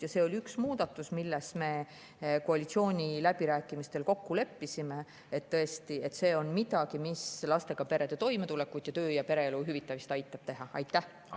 Ja see oli üks muudatus, milles me koalitsiooniläbirääkimistel kokku leppisime, et tõesti, see on midagi, mis lastega perede toimetulekut ning aitab töö- ja pereelu ühildada.